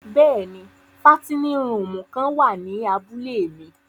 Bẹ́ẹ̀ni, fàtinin rùumù kan wa ni àbule mi.